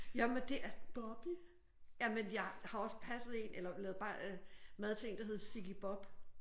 Jamen det er jamen jeg har også passet en eller lavet mad til en der hed Sigge Bob